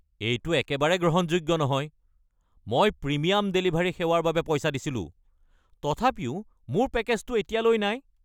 এইটো একেবাৰে গ্ৰহণযোগ্য নহয়! মই প্ৰিমিয়াম ডেলিভাৰী সেৱাৰ বাবে পইচা দিছিলো, তথাপিও মোৰ পেকেজটো এতিয়ালৈ নাই!